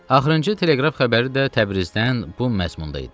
Axırıncı teleqraf xəbəri də Təbrizdən bu məzmunda idi.